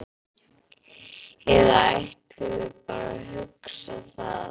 Eða ætlum við bara að hugsa það?